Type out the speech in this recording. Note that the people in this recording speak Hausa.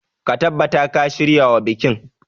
Ka tabbata ka shiryawa bikin.